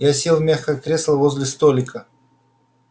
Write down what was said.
я сел в мягкое кресло возле столика